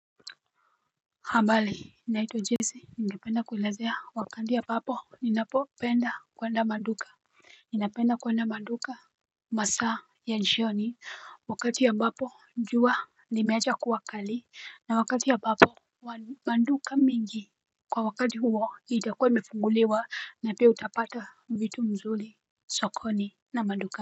Habari, naitwa Jessy, ningependa kuelezea wakati ambapo ninapopenda kuenda kwa duka. Ninapenda kuenda maduka masaa ya jioni. Wakati ambapo jua limeacha kuwa kali na wakati ambapo maduka mengi kwa wakati huo itakua imefunguliwa na pia utapata vitu mzuri sokoni na maduka.